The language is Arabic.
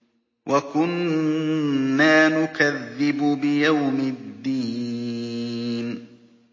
وَكُنَّا نُكَذِّبُ بِيَوْمِ الدِّينِ